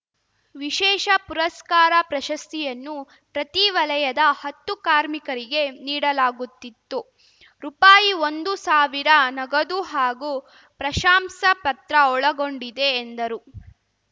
ವಿಶೇಷ ಪುರಸ್ಕಾರ ಪ್ರಶಸ್ತಿಯನ್ನು ಪ್ರತಿ ವಲಯದ ಹತ್ತು ಕಾರ್ಮಿಕರಿಗೆ ನೀಡಲಾಗುತ್ತಿತ್ತು ರುಪಾಯಿಒಂದು ಸಾವಿರ ನಗದು ಹಾಗೂ ಪ್ರಶಾಂಸಾ ಪತ್ರ ಒಳಗೊಂಡಿದೆ ಎಂದರು